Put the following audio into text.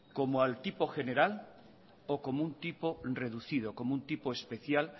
como al tipo general o como un tipo reducido como un tipo especial